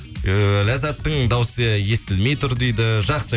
ііі ләззаттың дауысы естілмей тұр дейді жақсы